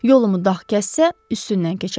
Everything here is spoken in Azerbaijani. Yolumu dağ kəssə, üstündən keçərəm.